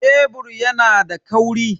Kebur yana da kauri.